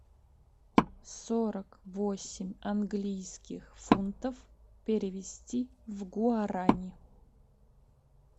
сорок восемь английских фунтов перевести в гуарани